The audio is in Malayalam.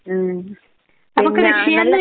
ഉം പിന്നെ ഞാൻ നല്ല